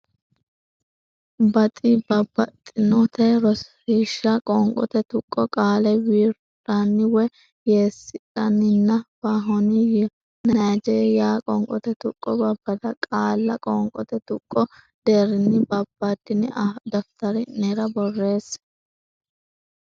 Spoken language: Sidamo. bax babbaxxitinote Rosiishsha Qoonqote Tuqqo Qaale wir dhan woy yees dhan nin ppa hon Nay jee yaa Qoonqote Tuqqo Babbada qaalla qoonqote tuqqo deerrinni babbaddine daftari nera borreesse.